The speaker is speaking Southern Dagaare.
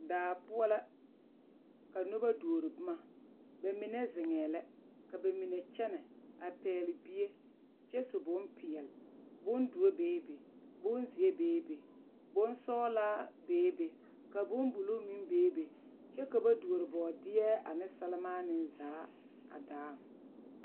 Daa poɔ la ka noba duori boma ba mine zeŋɛɛ la ka ba mine kyɛnɛ a pɛgle bie kyɛ su bompeɛle bondoɔ beebe bonzeɛ beebe bonsɔglaa beebe ka bonbulu meŋ beebe kyɛ ka ba duori bɔɔdeɛ ane sɛmaanee zaa a daaŋ.